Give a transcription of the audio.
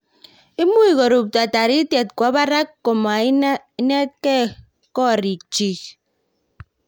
imuch korubto toritie kowo barak ko ma inaktae kororik chich